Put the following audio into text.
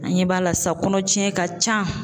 An ɲɛ b'a la sisan kɔnɔ jiɲɛ ka ca.